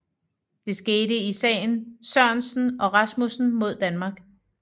Det skete i sagen Sørensen og Rasmussen mod Danmark